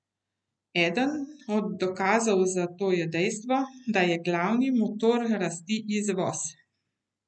Eden od dokazov za to je dejstvo, da je glavni motor rasti izvoz.